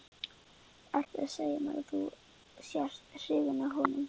Ertu að segja mér að þú sért. hrifin af honum?